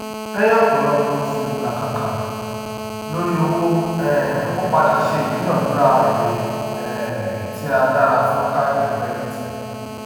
lèyìn ọpọlọpọ oṣù ilakaka lórí owó um o pada se idunadura èrè um tí a dára fún kaadi kirediti